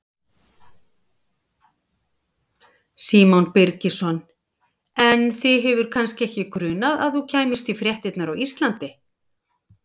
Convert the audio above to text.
Símon Birgisson: En þig hefur kannski ekki grunað að þú kæmist í fréttirnar á Íslandi?